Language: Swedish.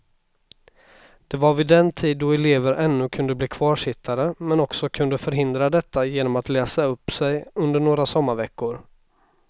Det var vid den tid då elever ännu kunde bli kvarsittare men också kunde förhindra detta genom att läsa upp sig under några sommarveckor.